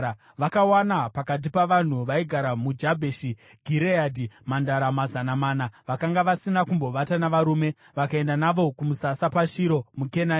Vakawana pakati pavanhu vaigara muJabheshi Gireadhi mhandara mazana mana vakanga vasina kumbovata navarume, vakaenda navo kumusasa paShiro muKenani.